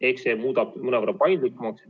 Ehk see muudab korra mõnevõrra paindlikumaks.